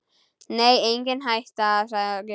Nei, engin hætta, sagði Gunni.